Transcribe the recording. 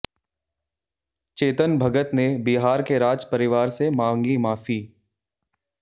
चेतन भगत ने बिहार के राज परिवार से मांगी माफी